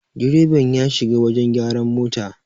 direban ya shiga wajen gyaran mota